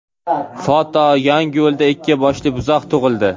Foto: Yangiyo‘lda ikki boshli buzoq tug‘ildi.